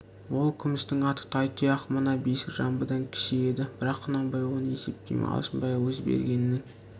ол күмістің аты тайтұяқ мына бесік жамбыдан кіші еді бірақ құнанбай оны есептемей алшынбайға өз бергенінің